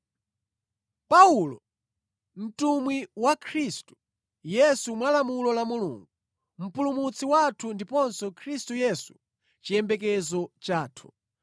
Paulo, mtumwi wa Khristu Yesu mwa lamulo la Mulungu, Mpulumutsi wathu ndiponso Khristu Yesu chiyembekezo chathu.